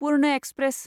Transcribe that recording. पुर्न express